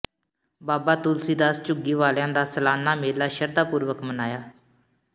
ਬਾਬਾ ਤੁਲਸੀ ਦਾਸ ਝੁੱਗੀ ਵਾਲਿਆਂ ਦਾ ਸਾਲਾਨਾ ਮੇਲਾ ਸ਼ਰਧਾ ਪੂਰਵਕ ਮਨਾਇਆ